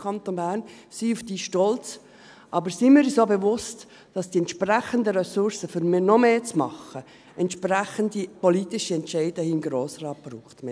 Seien wir stolz darauf, aber seien wir uns auch bewusst, dass die entsprechenden Ressourcen, um noch mehr zu machen, entsprechende politische Entscheide hier im Grossen Rat brauchen.